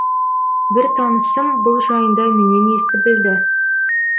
бір танысым бұл жайында менен естіп білді